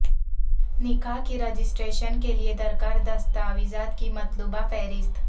نکاح کی رجسٹریشن کیلئے درکار دستاویزات کی مطلوبہ فہرست